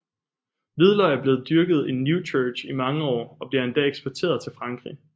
Hvidløg er blevet dyrket i Newchurch i mange år og bliver endda eksporteret til Frankrig